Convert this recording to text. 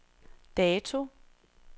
dato